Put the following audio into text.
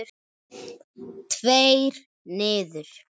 Tveir niður.